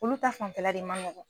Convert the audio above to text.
Olu ta fanfɛla de ma nɔgɔn.